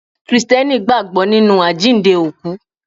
Krìsìtẹ́nì gbàgbọ́ nínú àjíǹde òkú.